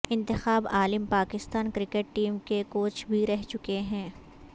انتخاب Alam Pakistan cricket team کے coach بھی رہ چکے ہیں